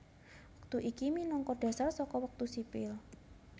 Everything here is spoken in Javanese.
Wektu iki minangka dhasar saka wektu sipil